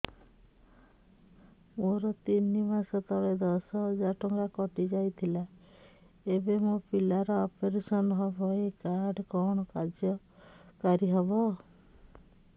ମୋର ତିନି ମାସ ତଳେ ଦଶ ହଜାର ଟଙ୍କା କଟି ଯାଇଥିଲା ଏବେ ମୋ ପିଲା ର ଅପେରସନ ହବ ଏ କାର୍ଡ କଣ କାର୍ଯ୍ୟ କାରି ହବ